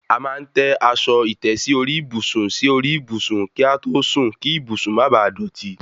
A máa ń tẹ́ aṣọ ìtẹ́sí orí ìbùsùn sí orí ìbùsùn kí a tó sùn kí ìbùsùn má baà dọ̀tí